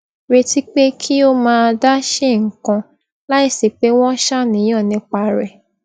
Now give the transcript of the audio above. retí pé kí ó máa dá ṣe nǹkan láìsí pé wón ń ṣàníyàn nípa rè